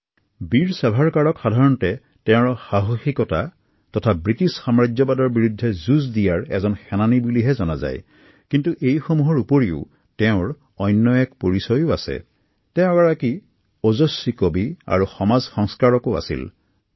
সাধাৰণতে বীৰ ছাভাৰকাৰক তেওঁৰ সাহসিকতা আৰু ব্ৰিটিছৰ বিৰুদ্ধে আগবঢ়োৱা যুঁজৰ বাবে জনা যায় যদিও তেওঁ এগৰাকী সফল কবি আৰু সমাজ সংস্কাৰকো আছিল